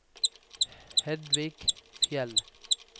Hedvig Fjeld